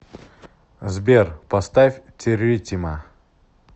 сбер поставь территима